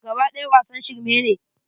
Kaba ɗaya wasan shirme ne.